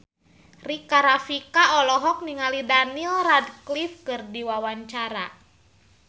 Rika Rafika olohok ningali Daniel Radcliffe keur diwawancara